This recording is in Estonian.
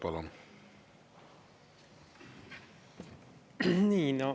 Palun!